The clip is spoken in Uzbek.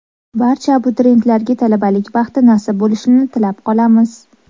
Barcha abituriyentlarga talabalik baxti nasib bo‘lishini tilab qolamiz!